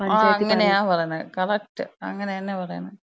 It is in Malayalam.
ആ അങ്ങനാണ് പറണത്. കറക്റ്റ് അങ്ങനെന്ന പറയണത്.